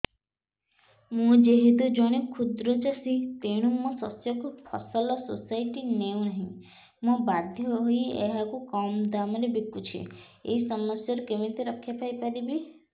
ମୁଁ ଯେହେତୁ ଜଣେ କ୍ଷୁଦ୍ର ଚାଷୀ ତେଣୁ ମୋ ଶସ୍ୟକୁ ଫସଲ ସୋସାଇଟି ନେଉ ନାହିଁ ମୁ ବାଧ୍ୟ ହୋଇ ଏହାକୁ କମ୍ ଦାମ୍ ରେ ବିକୁଛି ଏହି ସମସ୍ୟାରୁ କେମିତି ରକ୍ଷାପାଇ ପାରିବି